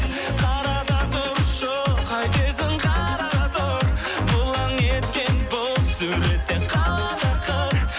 қара да тұршы қайтесің қара да тұр бұлаң еткен бұл сурет те қалады ақыр